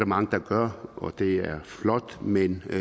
mange der gør og det er flot men vi